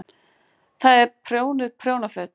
Það eru prjónuð prjónaföt.